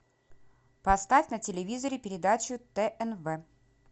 поставь на телевизоре передачу тнв